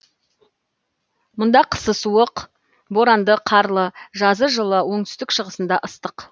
мұнда қысы суық боранды қарлы жазы жылы оңтүстік шығысында ыстық